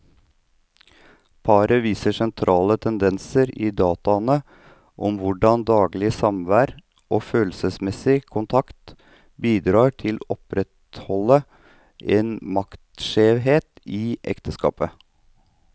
Paret viser sentrale tendenser i dataene om hvordan daglig samvær og følelsesmessig kontakt bidrar til å opprettholde en maktskjevhet i ekteskapet.